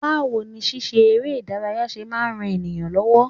Báwo ni ṣíṣe eré ìdárayá ṣe máa ń ran ènìyàn lọ́wọ́?